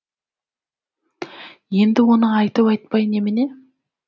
енді оны айтып айтпай немене